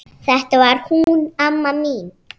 Þetta var hún amma mín.